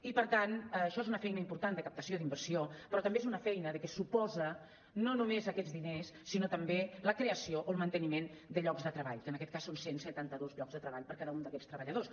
i per tant això és una feina important de captació d’inversió però també és una feina que suposa no només aquests diners sinó també la creació o el manteniment de llocs de treball que en aquest cas són cent i setanta dos llocs de treball per cada un d’aquests treballadors